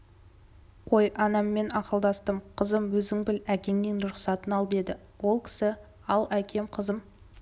қой анаммен ақылдастым қызым өзің біл әкеңнің рұқсатын ал деді ол кісі ал әкем қызым